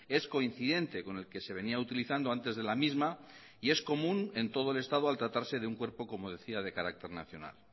es coincidente con el que se venía utilizando antes de la misma y es común en todo el estado al tratarse de un cuerpo como decía de carácter nacional